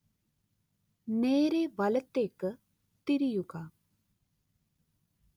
നേരേ വലത്തേക്ക് തിരിയുക